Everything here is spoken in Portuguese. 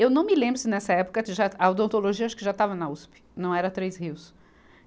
Eu não me lembro se nessa época de, já a odontologia acho que já estava na Uspe, não era Três Rios.